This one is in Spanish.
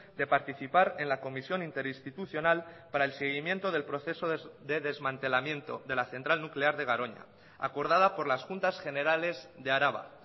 de participar en la comisión interinstitucional para el seguimiento del proceso de desmantelamiento de la central nuclear de garoña acordada por las juntas generales de araba